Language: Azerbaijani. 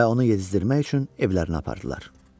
Və onu yedizdirmək üçün evlərinə apardılar.